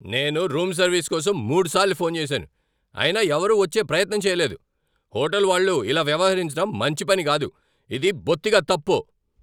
నేను room service కోసం మూడుసార్లు ఫోన్ చేశాను, అయినా ఎవరూ వచ్చే ప్రయత్నం చేయలేదు! హోటల్ వాళ్ళు ఇలా వ్యవహరించడం మంచి పని కాదు. ఇది బొత్తిగా తప్పు!